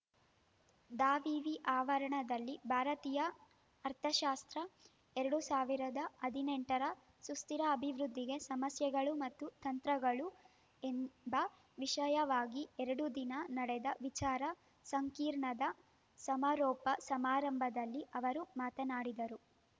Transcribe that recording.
ದಾವಿವಿ ಆವರಣದಲ್ಲಿ ಭಾರತೀಯ ಅರ್ಥಶಾಸ್ತ್ರ ಎರಡ್ ಸಾವಿರದ ಹದಿನೆಂಟರ ಸುಸ್ತಿರ ಅಭಿವೃದ್ಧಿಗೆ ಸಮಸ್ಯೆಗಳು ಮತ್ತು ತಂತ್ರಗಳು ಎಂಬ ವಿಷಯವಾಗಿ ಎರಡು ದಿನ ನಡೆದ ವಿಚಾರ ಸಂಕಿರಣದ ಸಮಾರೋಪ ಸಮಾರಂಭದಲ್ಲಿ ಅವರು ಮಾತನಾಡಿದರು